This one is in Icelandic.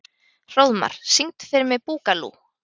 Hróðmar, syngdu fyrir mig „Búkalú“.